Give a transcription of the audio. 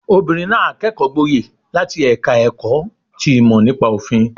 Obìnrin náà kẹ́kọ̀ọ́ gboyè láti ẹ̀ka ẹ̀kọ́ ti ìmọ̀ nípa òfin